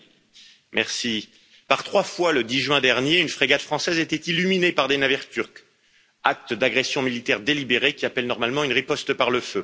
Monsieur le Président, par trois fois, le 10 juin dernier, une frégate française a été illuminée par des navires turcs, acte d'agression militaire délibéré qui appelle normalement une riposte par le feu.